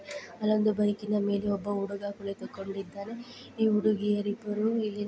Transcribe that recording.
ಅಲ್ಲೊಂದು ಬೈಕಿನ ಮೇಲೆ ಒಬ್ಬ ಹುಡುಗ ಕುಳಿತುಕೊಂಡಿದ್ದಾನೆ ಈ ಹುಡುಗಿಯರಿಬ್ಬರು ಇಲ್ಲಿ--